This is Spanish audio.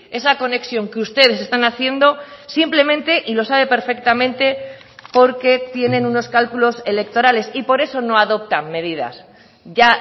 esa conexión que ustedes están haciendo simplemente y lo sabe perfectamente porque tienen unos cálculos electorales y por eso no adoptan medidas ya